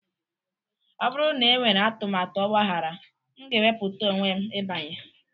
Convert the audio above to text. ọ bụrụ na enwere atụmatụ ọgbaghara, m ga-ewepụta onwe m ịbanye